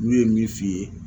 N'u ye min f'i ye